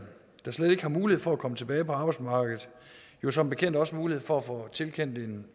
der slet ikke har mulighed for at komme tilbage på arbejdsmarkedet jo som bekendt også mulighed for at få tilkendt en